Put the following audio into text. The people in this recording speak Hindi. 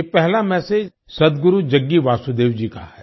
ये पहला मेसेज सद्गुरु जग्गी वासुदेव जी का है